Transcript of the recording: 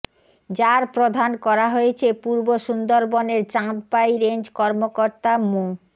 যার প্রধান করা হয়েছে পূর্ব সুন্দরবনের চাঁদপাই রেঞ্জ কর্মকর্তা মো